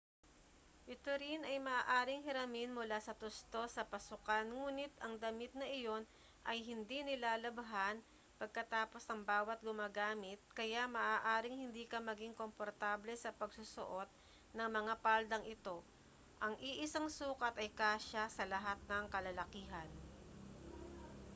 ito rin ay maaaring hiramin mula sa tustos sa pasukan nguni't ang damit na iyon ay hindi nilalabhan pagkatapos ng bawa't gumagamit kaya maaaring hindi ka maging komportable sa pagsusuot ng mga paldang ito ang iisang sukat ay kasya sa lahat ng kalalakihan